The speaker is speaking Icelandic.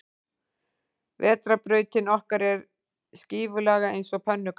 Vetrarbrautin okkar er skífulaga eins og pönnukaka.